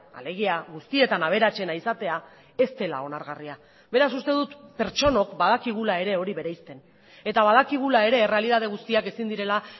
alegia guztietan aberatsena izatea ez dela onargarria beraz uste dut pertsonok badakigula ere hori bereizten eta badakigula ere errealitate guztiak ezin direla